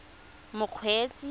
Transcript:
mokgweetsi